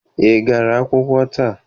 Ị gara akwụkwọ taa?